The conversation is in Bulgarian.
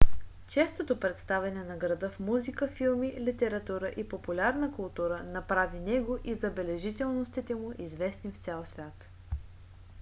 честото представяне на града в музика филми литература и популярна култура направи него и забележителностите му известни в цял свят